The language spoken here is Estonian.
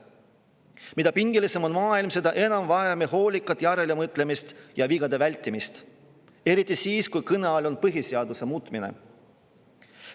Mida pingelisem on maailm, seda enam vajame hoolikat järelemõtlemist ja vigade vältimist – eriti siis, kui kõne all on põhiseaduse muutmine.